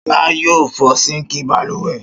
Ṣọlá yóò fọ síńkì balùwẹ̀.